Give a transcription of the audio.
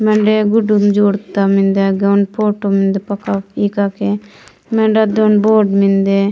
मने गुडुम जोड़ता मिन्दे गयनपुर म मिंडे पका के इन के मेंडा द बाड़ इन मिंदे।